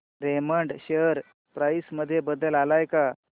Raymond share price मध्ये बदल आलाय का